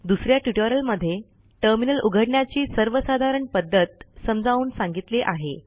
दुस या ट्युटोरियलमध्ये टर्मिनल उघडण्याची सर्वसाधारण पध्दत समजावून सांगितली आहे